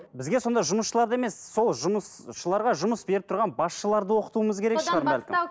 бізге сонда жұмысшыларды емес сол жұмысшыларға жұмыс беріп тұрған басшыларды оқытуымыз керек шығар бәлкім